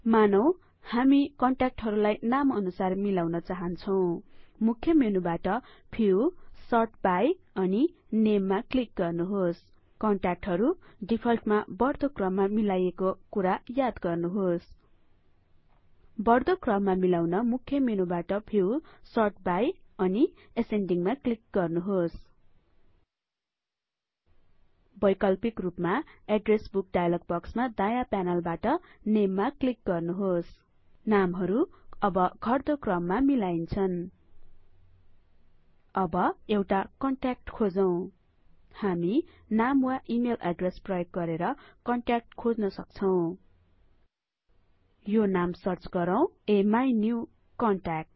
मानौं हामी कन्ट्याक्टहरुलाई नामअनुसार मिलाउन चाहन्छौं मुख्य मेनुबाट भ्यू सर्ट बाई अनि नेममा क्लिक गर्नुहोस कन्ट्याक्टहरु डिफल्टमा बढ्दो क्रममा मिलाइएको हुने कुरा याद गर्नुहोस बढ्दो क्रममा मिलाउन मुख्य मेनुबाट भ्यू सर्ट बाई अनि एसेन्डीगमा क्लिक गर्नुहोस वैकल्पिक रुपमा एड्रेस बुक डाइलग बक्समा दायाँ प्यानलबाट नेममा क्लिक गर्नुहोस नामहरु अब घट्दो क्रममा मिलाइन्छन् अब एउटा कन्ट्याक्ट खोजौं हामी नाम वा इमेल एड्रेस प्रयोग गरेर कन्ट्याक्ट खोज्न सक्छौं यो नाम सर्च गरौँ अमिन्युकन्ट्याक्ट